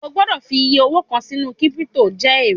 O gbọ́dọ̀ fi iyẹ owó kàn sínú kírípítò jẹ èrè